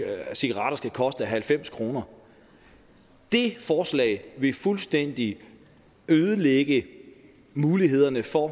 at cigaretter skal koste halvfems kroner det forslag vil fuldstændig ødelægge mulighederne for